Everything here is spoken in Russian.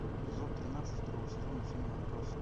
эпизод тринадцать второго сезона фильма отбросы